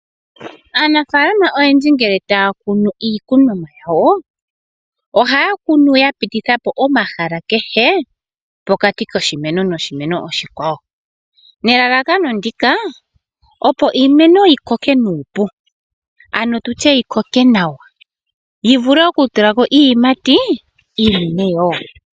Aanafaalama oyendji ngele taya kunu iikunomwa yawo , ohaya kunu yapitithapo omahala kehe pokati koshimeno noshimeno oshikwawo, nelalakano ndika opo iimeno yi koke nuupu ano tutye yi koke nawa, yi vule okutulako iiyimati iinene wo.